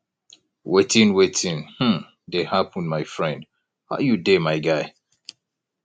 wetin wetin um dey happen my friend how you dey my guy